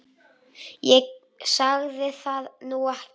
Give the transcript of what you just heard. Ég sagði það nú ekki.